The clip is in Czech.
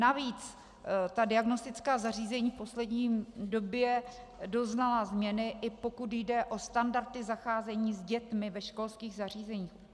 Navíc ta diagnostická zařízení v poslední době doznala změny, i pokud jde o standardy zacházení s dětmi ve školských zařízeních.